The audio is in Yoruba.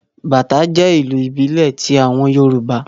Bàtá jẹ́ ìlù ìbílẹ̀ ti àwọn Yorùbá